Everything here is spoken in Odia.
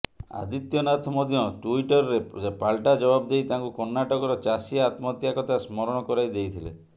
ଆଦିତ୍ୟନାଥ ମଧ୍ୟ ଟୁଇଟର୍ରେ ପାଲଟା ଜବାବ ଦେଇ ତାଙ୍କୁ କର୍ଣ୍ଣାଟକର ଚାଷୀ ଆତ୍ମହତ୍ୟା କଥା ସ୍ମରଣ କରାଇ ଦେଇଥିଲେ